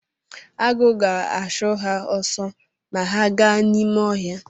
Agụ ga-achụ ha ọsọ ma ha gaa n’ime ọhịa